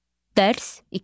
Dərs 2.